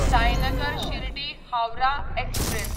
Sainagar Shirdi Howrah express